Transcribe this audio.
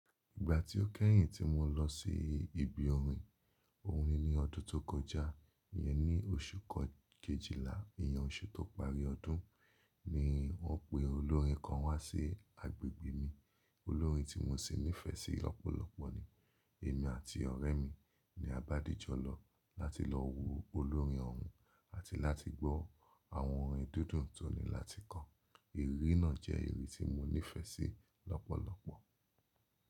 Ìgbà tí ó kẹ́yìn tí mo lọ sí ibi orin ohùn ni ọdún tó kọjá, ìyẹn ni oṣù kejìlá, ìyẹn oṣù tó parí ọdún ni wọ́n pe olórin kan wá sí agbègbè mi. Olórin tí mo sì nífẹ̀sí lọ́pọ̀lọpọ̀ ni èmi àti ọ̀rẹ́ mi ni a bá dìjọ lọ láti lọ wo olórin ọ̀hún àti láti gbọ́ àwọn orin dídùn tó ní láti kọ. Ìrírí náà jẹ́ ìrírí tí mo nífẹ̀sí lọ́pọ̀lọpọ̀.